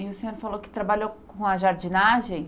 E o senhor falou que trabalhou com a jardinagem?